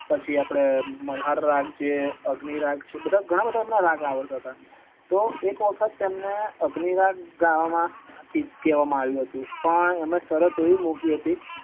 પછી આપડે મલ્હાર રાગ જે અગ્નિ રાગ છે એ બધા ગણા બધા રાગ આવડ્ળતા હત એમને એક દિવસ અગ્નિ રાગ ગાવાનું કહેવામાં આવ્યું હતું પણ એમને સરત એવી મૂકી હતી